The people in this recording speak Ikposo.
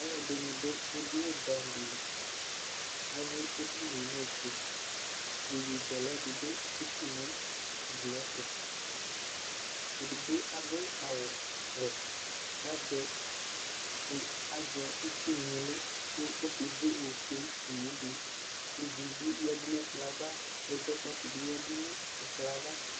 Aluɛdini du edini buɛ amu di li ayui edini nu ofue iyeyezɛlɛ dibi atsitu nu ugli tu edigbo adu awu wɛ azɛ itsuŋlo lɛ ku okeze ofue nu ublu ɛzɔkpakɔ dibi yadu nu ɛkplɔ yɛ ava ava